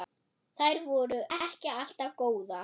Þær voru ekki alltaf góðar.